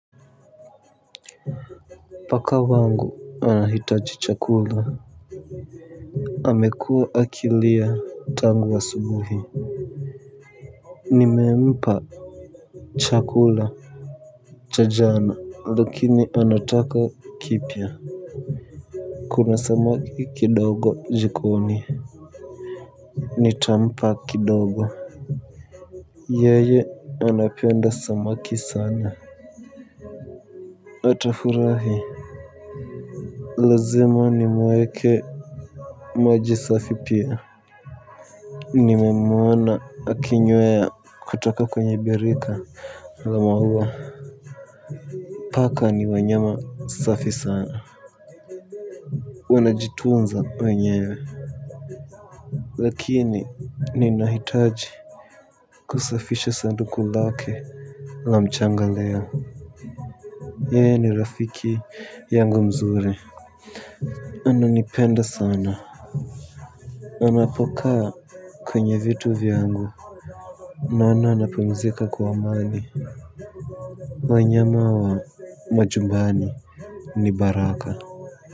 Paka wangu anahitaji chakula amekua akilia tangu asubuhi nimempa chakula cha jana lakini anataka kipya. Kuna samaki kidogo jikoni nitampa kidogo yeye anapenda samaki sana atafurahi lazima ni mueke maji safi pia. Nimemwona akinywea kutoka kwenye birika la mahua. Paka ni wanyama safi sana wanjitunza wenyewe lakini ninahitaji kusafisha sanduku lake la mchanga leo. Yeye ni rafiki yangu mzuri. Ananipenda sana. Anapokaa kwenye vitu vyangu naona anapumzika kwa amani. Wanyama wa majumbani ni baraka.